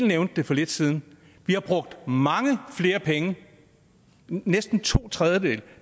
nævnte for lidt siden vi har brugt mange flere penge næsten to tredjedele